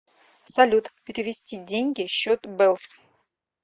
салют перевести деньги счет бэлс